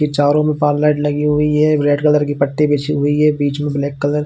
ये चारो में पाल लाइट लगी हुई है रेड कलर की पट्टी बिछी है बीच में ब्लैक कलर --